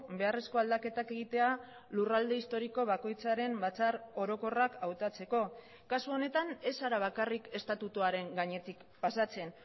beharrezko aldaketak egitea lurralde historiko bakoitzaren batzar orokorrak hautatzeko kasu honetan ez zara bakarrik estatutuaren gainetik pasatzen